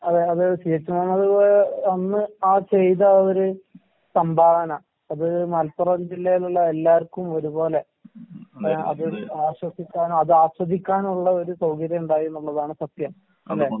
അതെ അത് C. H. Muhammad Koya അന്ന് ആ ചെയ്ത ആ ഒര് സംഭാവന അത് മലപ്പുറം ജില്ലയിലുള്ള എല്ലാർക്കും ഒരുപോലെ അത് ആശ്വസിക്കാനും അതാസ്വദിക്കാനും ഉള്ള ഒര് സൗകര്യം ഉണ്ടായീന്നുള്ളതാണ് സത്യം അല്ലേ?